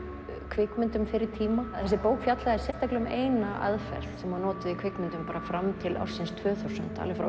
kvikmyndum fyrri tíma þessi bók fjallaði sérstaklega um eina aðferð sem var notuð í kvikmyndum fram til ársins tvö þúsund alveg frá